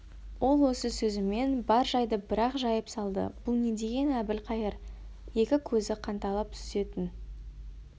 ол осы сөзімен бар жайды бір-ақ жайып салды бұл не дегені әбілқайыр екі көзі қанталап сүзетін